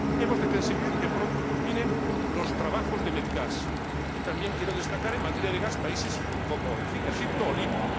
Hemos de conseguir que pronto culminen los trabajos de Medgaz y también quiero destacar en materia de gas países como Egipto o Libia.